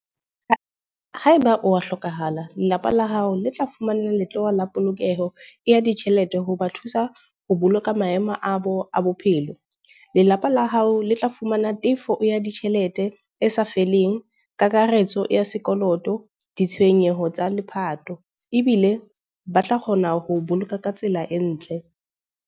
Haeba oba hlokahala, lelapa la hao le tla fumana letloha la polokeho ya ditjhelete ho ba thusa ho boloka maemo a bo a bophelo. Lelapa la hao le tla ho fumana tefo ya ditjhelete e sa feleng, kakaretso ya sekoloto, ditshenyeho tsa lepato. Ebile ba tla kgona ho boloka ka tsela e ntle.